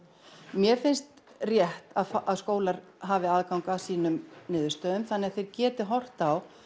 mér finnst rétt að skólar hafi aðgang að sínum niðurstöðum þannig að þeir geti horft á